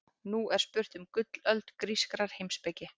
Nú er spurt um gullöld grískrar heimspeki.